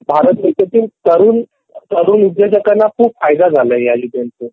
भारत देशातील तरुण उद्योजकांना खूप फायदा झालाय ह्या योजनेतून